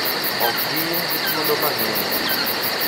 Ok gin gi thuolo mang’eny